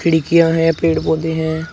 खिड़कियां हैं पेड़ पौधे हैं।